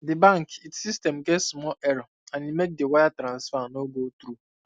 di bank it system get small error and e make the wire transfer no go through